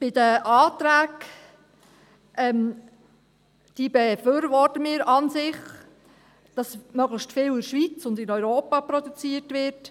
Zu den Anträgen: Wir befürworten sie an sich, also, dass möglichst viel in der Schweiz und in Europa produziert wird.